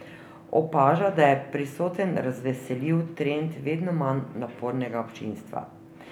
Opaža, da je prisoten razveseljiv trend vedno manj napornega občinstva.